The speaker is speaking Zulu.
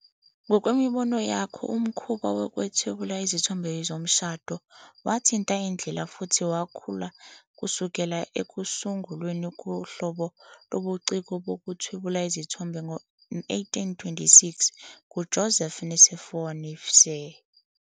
Ngokwemibono yakho, umkhuba wokuthwebula izithombe yomshado wathinta indlela futhi wakhula kusukela ekusungulweni kohlobo lobuciko bokuthwebela izithombe ngo-1826 nguJoseph Nicéphore Niépce.